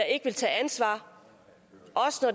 ikke ville tage ansvar